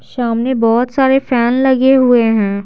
सामने बहुत सारे फैन लगे हुए हैं।